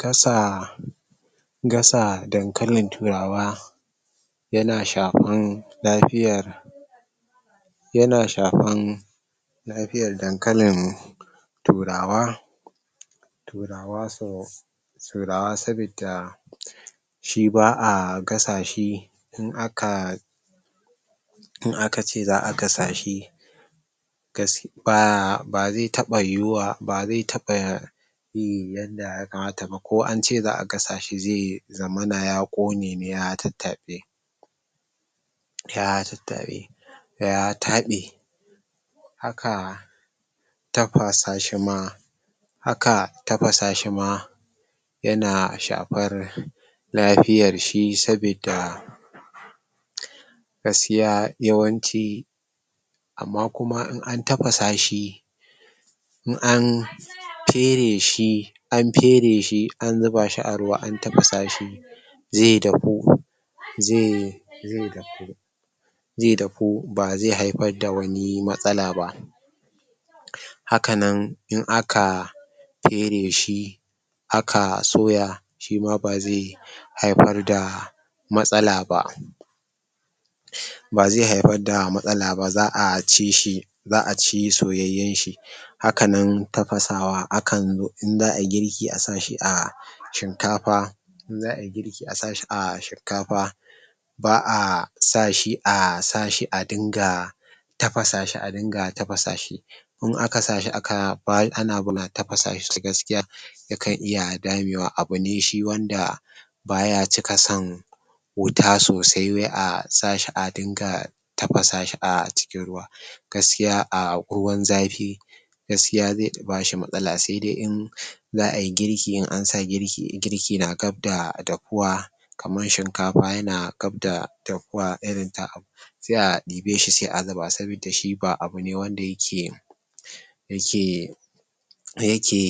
Gasa gasa dankalin turawa yana shafan lafiyan yana shafan lafiyan dankalin turawa turawa so turawa sabidda shi ba'a gasa shi in aka in aka ce za'a gasa shi ba zai taɓa yiwuwa bazai taɓa yin yanda ya kamata ba ko ance za'a gasa shi zai zamana ya ƙone ne ya tattaɓe ya tattaɓe ya taɓe haka tafasa shi ma haka tafasa shi ma yana shafar lafiyar shi sabidda gaskiya yawanci amma kuma in an tafasa shi in an fere shi an fere shi an zubashi a ruwa an tafasa shi zai dahu zai zai dahu zai dahu ba zai haifar da wani matsala ba. Hakanan in aka fere shi aka soya shima bazai haifar da matsala ba. bazai haifar da matsala ba za'a ci shi za'a ci soyayyen shi hakanan tafasawa akan in za'ayi girki a sa shi a shinkafa in za'ayi girki a sa shi a shinkafa ba'a sashi a sa shi a dinga tafasa shi a dinga tafasa shi. in aka sa shi ana tafasa shi gaskiya yakan iya damewa. Abune shi wanda baya cika son wuta sosai wai a sashi a dinga tafasa shi a cikin ruwa. Gaskiya a ruwan zafi gaskiya zai bashi matsala saidai in za'ayi girki in ansa girki girki na gab da dahuwa kaman shinkafa yana gab da dahuwa irin ta sai a ɗibe shi sai a zuba sabida shi ba abune wanda yake yake yake